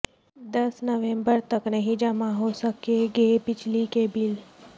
دس نومبر تک نہیں جمع ہو سکیں گے بجلی کے بل